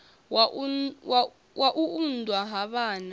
wa u unḓwa ha vhana